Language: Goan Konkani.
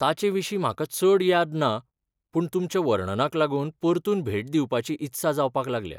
ताचे विशीं म्हाका चड याद ना, पूण तुमच्या वर्णनाक लागून परतून भेट दिवपाची इत्सा जावपाक लागल्या.